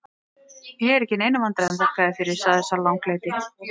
Ég er ekki í neinum vandræðum, þakka þér fyrir, sagði sá langleiti.